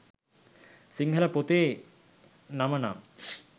සිංහල පොතේ නම නම්